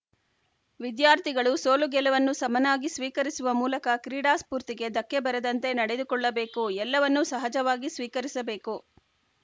ವಿದ್ಯಾರ್ಥಿಗಳು ಸೋಲು ಗೆಲವನ್ನು ಸಮನಾಗಿ ಸ್ವೀಕರಿಸುವ ಮೂಲಕ ಕ್ರೀಡಾಸ್ಪೂರ್ತಿಗೆ ಧಕ್ಕೆ ಬರದಂತೆ ನಡೆದುಕೊಳ್ಳಬೇಕು ಎಲ್ಲವನ್ನೂ ಸಹಜವಾಗಿ ಸ್ವೀಕರಿಸಬೇಕು